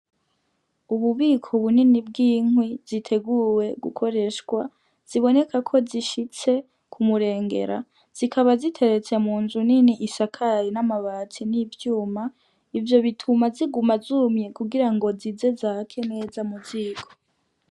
Ububiko bunini bw'inkwi ziteguwe gukoreshwa ziboneka ko zishitse kumu rengera zikaba ziteretse mu nzu nini isakaye n' amabati n' ivyuma ivyo bituma ziguma zumye kugira ngo zize zake neza ku ziko.